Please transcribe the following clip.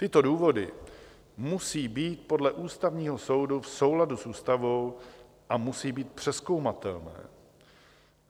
Tyto důvody musí být podle Ústavního soudu v souladu s ústavou a musí být přezkoumatelné.